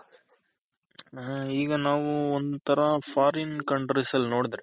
ಹ ಈಗ ನಾವು ಒಂತರ foreign country ಅಲ್ ನೋಡದ್ರೆ.